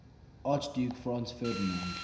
archduke franz ferdinand